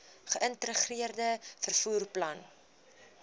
geïntegreerde vervoer plan